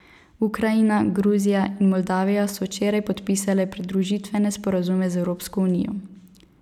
Ukrajina, Gruzija in Moldavija so včeraj podpisale pridružitvene sporazume z Evropsko unijo.